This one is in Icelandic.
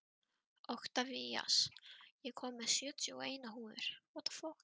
Oktavías, ég kom með sjötíu og eina húfur!